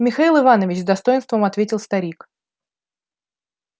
михаил иванович с достоинством ответил старик